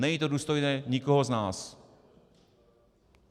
Není to důstojné nikoho z nás.